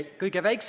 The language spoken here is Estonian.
Head kolleegid!